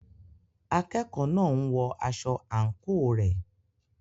Akẹ́kọ̀ọ́ náà ń wọ aṣọ àǹkóò rẹ̀.